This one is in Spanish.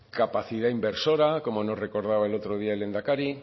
capacidad inversora como no recordaba el otro día el lehendakari